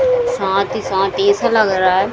साथ ही साथ ऐसा लग रहा है --